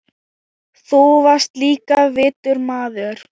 Þú varst líka vitur maður.